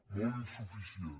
molt insuficient